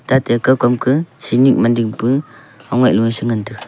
tate koy kam ka samit dingpe ongai si ngan taga.